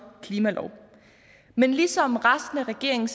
klimalov men ligesom resten af regeringen